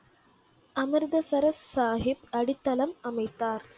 அமிர்தசரஸ் சாஹிப் அடித்தளம் அமைத்தார்